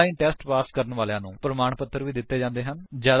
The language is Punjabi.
ਆਨਲਾਇਨ ਟੇਸਟ ਪਾਸ ਕਰਨ ਵਾਲੀਆਂ ਨੂੰ ਪ੍ਰਮਾਣ ਪੱਤਰ ਵੀ ਦਿੰਦੇ ਹਨ